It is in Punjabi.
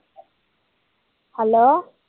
hello